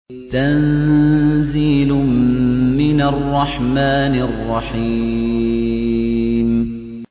تَنزِيلٌ مِّنَ الرَّحْمَٰنِ الرَّحِيمِ